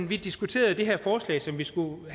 vi diskuterede det her forslag som vi skulle